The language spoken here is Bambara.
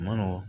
Ma nɔgɔn